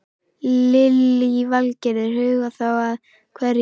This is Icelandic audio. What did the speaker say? Lillý Valgerður: Huga þá að hverju?